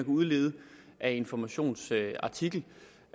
udlede af informations artikel